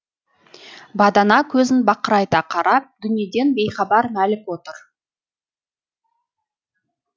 бадана көзін бақырайта қарап дүниеден бейхабар мәлік отыр